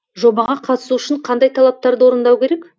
жобаға қатысу үшін қандай талаптарды орындау керек